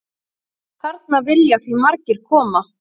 Þarna vilja því margir koma.